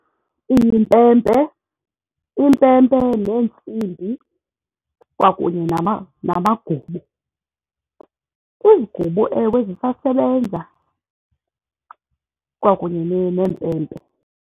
Iimpempe. Iimpempe neentsimbi kwakunye namagubu. Iigubu, ewe, zisasebenza kwakunye neempempe.